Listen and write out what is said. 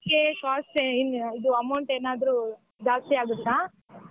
Game ಗೆ cost ಇದು amount ಏನಾದ್ರು ಜಾಸ್ತಿ ಆಗುತ್ತಾ?